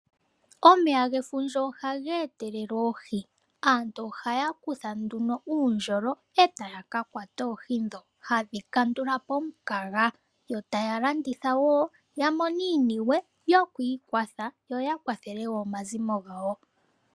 Omeya gefundja ohaga etelele oohi, aantu ohaya kutha nduno uundjolo e taya kakwata oohi dho hadhi kandula po omukaga, yo taya landitha woo yamone iiyemo yiikwathele yo yakwathelewoo omazimo gawo.